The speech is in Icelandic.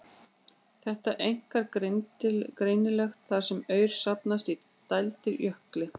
Þetta er einkar greinilegt þar sem aur safnast í dældir á jökli.